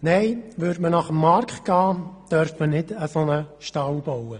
Nein, würde man nach dem Markt gehen, dürfte man so einen Stall nicht bauen.